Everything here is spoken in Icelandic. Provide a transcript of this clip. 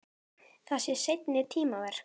Það sé seinni tíma verk.